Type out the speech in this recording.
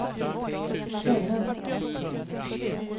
känna